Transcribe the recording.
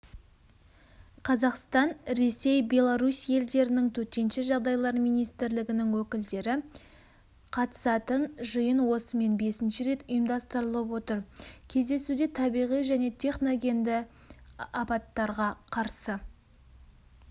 қазақстан ресей беларусь елдерінің төтенше жағдайлар министрлігінің өкілдері қатысатын жиын осымен бесінші рет ұйымдастырылып отыр кездесуде табиғи және техногенді апаттарға қарсы